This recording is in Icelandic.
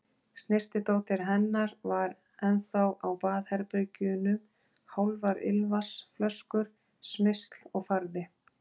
Snyrtidótið hennar var ennþá á baðherbergjunum, hálfar ilmvatnsflöskur, smyrsl og farði.